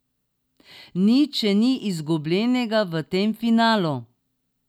Nič še ni izgubljenega v tem finalu.